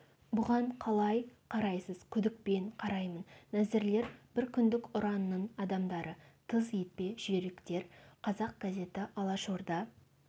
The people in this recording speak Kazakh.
бұған қалай қарайсыз күдікпен қараймын нәзірлер бір күндік ұранның адамдары тыз етпе жүйріктер қазақ газеті алашорда